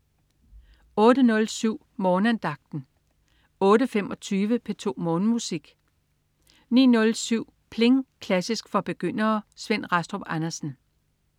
08.07 Morgenandagten 08.25 P2 Morgenmusik 09.07 Pling! Klassisk for begyndere. Svend Rastrup Andersen